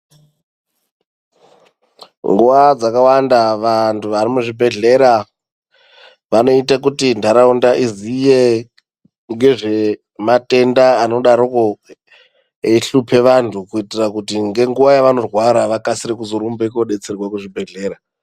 Nguwa dzakawanda vanthu varimuzvibhedhlera vanoite kuti nharaunda iziye ngezve matenda anodaroko eihlupe vanthu kuitira kuti ngenguwa yavanorwara vakasire kurumbe kodetserwa kuzvibhedhlera.